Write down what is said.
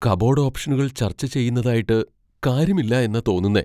Cupboard ഓപ്ഷനുകൾ ചർച്ച ചെയ്യുന്നതായിട്ട് കാര്യമില്ലാ എന്നാ തോന്നുന്നേ.